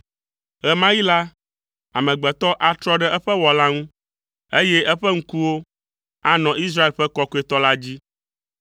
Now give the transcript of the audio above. Ɣe ma ɣi la, amegbetɔ atrɔ ɖe eƒe Wɔla ŋu, eye eƒe ŋkuwo anɔ Israel ƒe Kɔkɔetɔ la dzi.